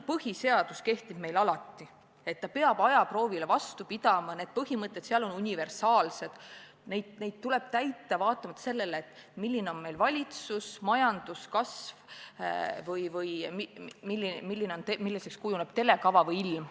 Põhiseadus kehtib meil alati, peab ajaproovile vastu pidama – need põhimõtted on universaalsed ja neid tuleb täita olenemata sellest, milline on meil valitsus, majanduskasv või milliseks kujuneb telekava või ilm.